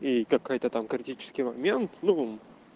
и какая-то там критический момент ну